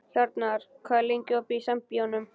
Hjarnar, hvað er lengi opið í Sambíóunum?